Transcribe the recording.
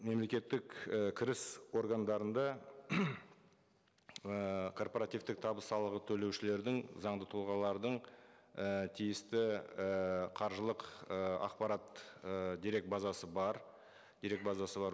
мемлекеттік і кіріс органдарында ыыы корпоративтік табыс салығы төлеушілердің заңды тұлғалардың і тиісті ііі қаржылық ы ақпарат і дерек базасы бар дерек базасы бар